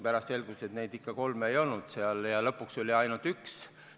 Pärast selgus, et kolme ikka ei olnud, ja lõpuks oli ainult üks.